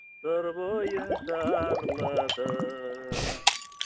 сыр бойын шарладым